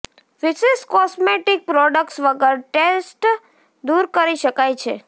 વિશિષ્ટ cosmetic products વગર tresses દૂર કરી શકાય છે